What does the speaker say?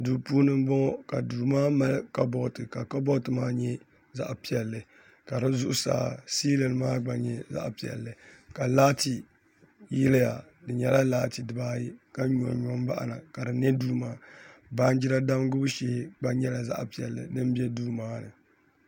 Duu puuni n bɔŋɔ ka duu maa mali kabood ka kabood maa nyɛ zaɣ piɛlli ka di zuɣusaa siilin maa gba nyɛ zaɣ piɛlli ka laati yiliya di nyɛla laati dibaayi ka nyonyo n baɣana ka di nɛ duu maa ni baanjira damgibu shee din nyɛ zaɣ piɛlli gba bɛ duu maa ni